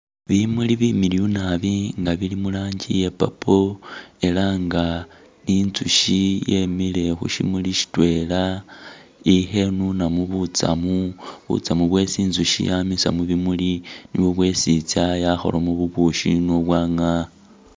Bimuli bimiliyu naabi nga bili murangi ya purple ela nga ni nzushi yemile khushimuli shitwela i'khenunamo butsamu, butsamu bwesi i'nzushi yamisa mubimuli nibwo bwesi i'tsa yakholamo bubushi ni bwagaa